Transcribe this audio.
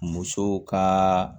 Musow ka